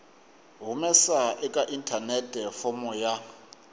humesa eka inthanete fomo ya